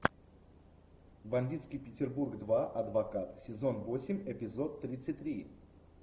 бандитский петербург два адвокат сезон восемь эпизод тридцать три